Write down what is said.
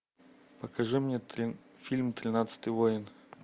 покажи мне фильм тринадцатый воин